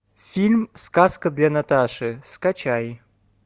фильм сказка для наташи скачай